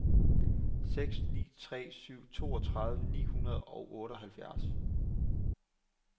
seks ni tre syv toogtredive ni hundrede og otteoghalvfjerds